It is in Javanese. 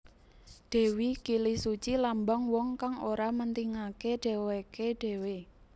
Dewi Kilisuci lambang wong kang ora mentingaké dhéwéké dhéwé